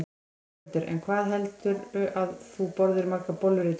Ingveldur: En hvað heldurðu að þú borðir margar bollur í dag?